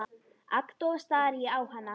Agndofa stari ég á hana.